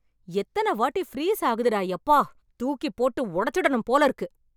எத்தனை வாட்டி ஃப்ரீஸ் ஆகுது டா யப்பா! தூக்கிப் போட்டு உடைச்சுடணும் போல இருக்கு.